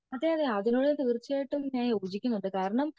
അതെ അതെ അതിനോട് തീർച്ചയായും ഞാൻ യോജിക്കുന്നുണ്ട് കാരണം